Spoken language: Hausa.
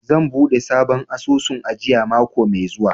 Zan buɗe sabon asusun ajiya mako mai zuwa.